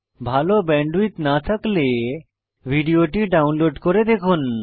ভাল ব্যান্ডউইডথ না থাকলে ভিডিওটি ডাউনলোড করে দেখুন